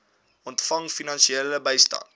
ontvang finansiële bystand